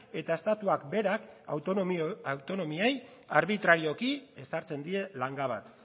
eta estatuak berak autonomiei arbitrarioki ezartzen die langa bat